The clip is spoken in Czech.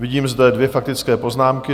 Vidím zde dvě faktické poznámky.